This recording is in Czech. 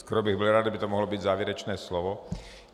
Skoro bych byl rád, kdyby to mohlo být závěrečné slovo.